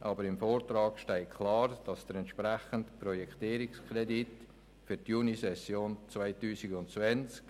Aber im Vortrag steht klar, dass der entsprechende Projektierungskredit für die Junisession 2020